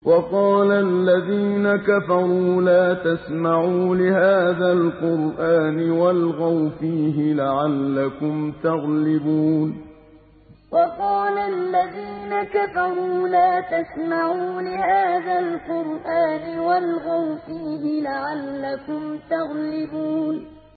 وَقَالَ الَّذِينَ كَفَرُوا لَا تَسْمَعُوا لِهَٰذَا الْقُرْآنِ وَالْغَوْا فِيهِ لَعَلَّكُمْ تَغْلِبُونَ وَقَالَ الَّذِينَ كَفَرُوا لَا تَسْمَعُوا لِهَٰذَا الْقُرْآنِ وَالْغَوْا فِيهِ لَعَلَّكُمْ تَغْلِبُونَ